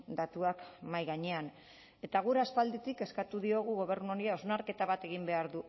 datuak mahai gainean eta guk aspalditik eskatu diogu gobernu honi hausnarketa bat egin behar